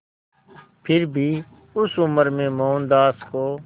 फिर भी उस उम्र में मोहनदास को